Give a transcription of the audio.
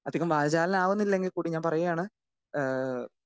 speaker 2 അധികം വാചാലനാകുന്നില്ലെങ്കിൽ കൂടി ഞാൻ പറയുകയാണ് ഏഹ്